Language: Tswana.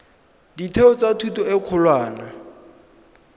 ditheo tsa thuto e kgolwane